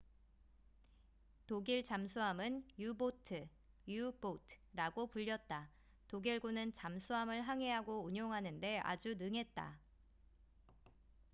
독일 잠수함은 유보트u-boat라고 불렸다. 독일군은 잠수함을 항해하고 운용하는데 아주 능했다